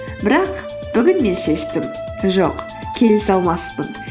бірақ бүгін мен шештім жоқ келісе алмаспын